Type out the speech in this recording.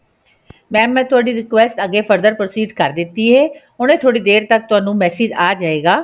mam ਮੈਂ ਤੁਹਾਡੀ request ਅੱਗੇfurther proceed ਕਰ ਦਿੱਤੀ ਹੈ ਹੁਣੇ ਥੋੜੀ ਦੇਰ ਤੱਕ ਤੁਹਾਨੂੰ message ਆ ਜਾਏਗਾ